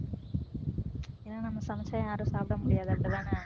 ஏன்னா நம்ம சமைச்சா யாரும் சாப்பிட முடியாது அப்படித்தானே